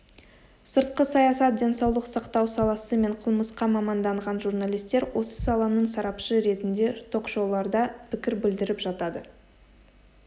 сыртқы саясат денсаулық сақтау саласы мен қылмысқа маманданған журналистер осы саланың сарапшы ретінде ток-шоуларда пікір білдіріп жатады